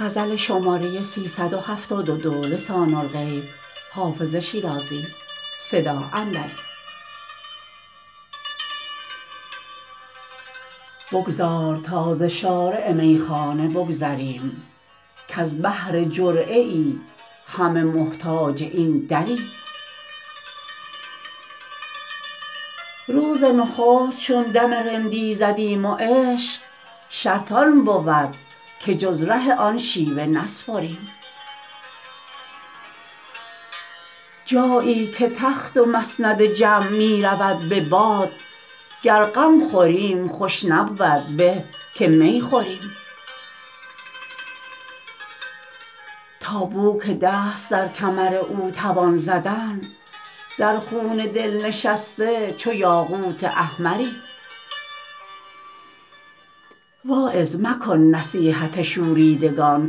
بگذار تا ز شارع میخانه بگذریم کز بهر جرعه ای همه محتاج این دریم روز نخست چون دم رندی زدیم و عشق شرط آن بود که جز ره آن شیوه نسپریم جایی که تخت و مسند جم می رود به باد گر غم خوریم خوش نبود به که می خوریم تا بو که دست در کمر او توان زدن در خون دل نشسته چو یاقوت احمریم واعظ مکن نصیحت شوریدگان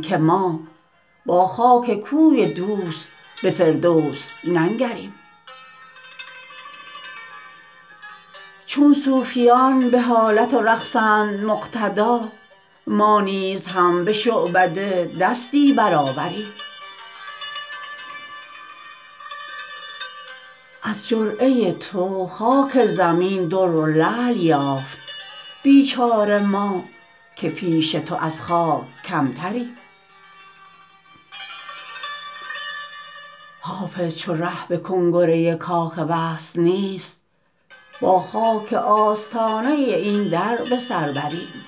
که ما با خاک کوی دوست به فردوس ننگریم چون صوفیان به حالت و رقصند مقتدا ما نیز هم به شعبده دستی برآوریم از جرعه تو خاک زمین در و لعل یافت بیچاره ما که پیش تو از خاک کمتریم حافظ چو ره به کنگره کاخ وصل نیست با خاک آستانه این در به سر بریم